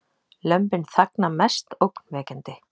Lömbin þagna mest ógnvekjandi